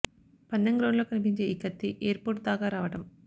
పందెం గ్రౌండ్ లో కనిపించే ఈ కత్తి ఎయిర్ పోర్ట్ దాకా రావడం